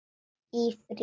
Í frí.